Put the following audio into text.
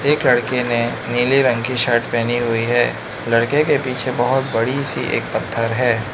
एक लड़के ने नीले रंग की शर्ट पहनी हुई है लड़के के पीछे बहुत बड़ी सी एक पत्थर है।